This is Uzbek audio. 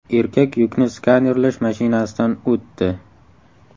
Erkak yukni skanerlash mashinasidan o‘tdi .